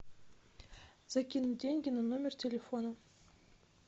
закинуть деньги на номер телефона